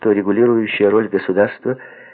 регулирующая роль государства